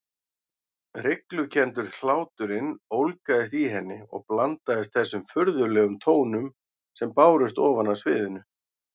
Hryglukenndur hláturinn ólgaði í henni og blandaðist þessum furðulegum tónum sem bárust ofan af sviðinu.